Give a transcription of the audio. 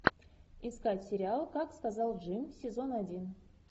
искать сериал как сказал джим сезон один